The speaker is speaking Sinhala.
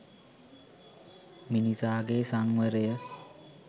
මිනිසා ගේ සංවරය